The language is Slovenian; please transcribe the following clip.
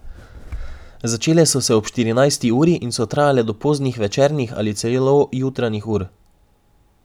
Začele so se ob štirinajsti uri in so trajale do poznih večernih ali celo jutranjih ur.